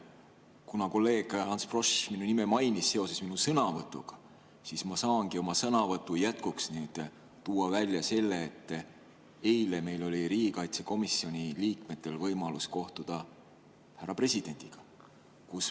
Kuna kolleeg Ants Frosch mainis minu nime seoses minu sõnavõtuga, siis ma saangi oma sõnavõtu jätkuks tuua välja selle, et eile oli riigikaitsekomisjoni liikmetel võimalus kohtuda härra presidendiga.